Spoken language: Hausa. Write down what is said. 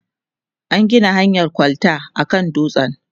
an Gina hanyan kwalta a kan dutsen